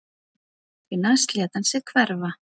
Því næst lét hann sig hverfa